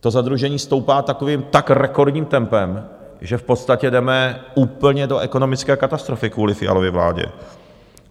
to zadlužení stoupá takovým, tak rekordním tempem, že v podstatě jdeme úplně do ekonomické katastrofy kvůli Fialově vládě.